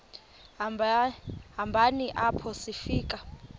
hambeni apho sifika